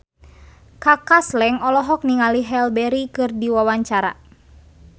Kaka Slank olohok ningali Halle Berry keur diwawancara